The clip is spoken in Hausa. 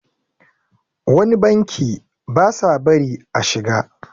wani banki ba sa bari a shiga